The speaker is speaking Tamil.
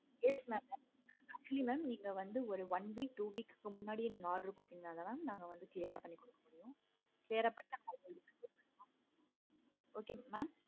yes mam actually நீங்க வந்து ஒரு one weeks two weeks முன்னாடி நீங்க order கொடுத்திங்கனா நாங்க clear ஆஹ் பண்ணி கொடுத்துருவோம். clear ஆஹ் பண்ணி கொடுத்து okay வா mam